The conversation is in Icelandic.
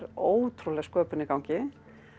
ótrúleg sköpun í gangi